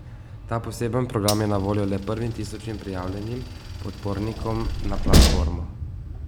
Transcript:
Ta poseben program je na voljo le prvim tisoč prijavljenim podpornikom na platformo.